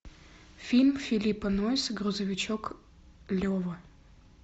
фильм филлипа нойса грузовичок лева